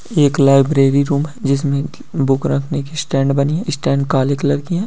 एक library room है जिसमें बुक रखने की स्टैंड बानी है स्टैंड काले कलर की है।